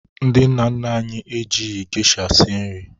Ndị nna nna anyi ha ejighị geisha sie nri.